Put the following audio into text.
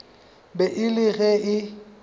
be e le ge e